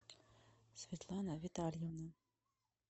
светлана витальевна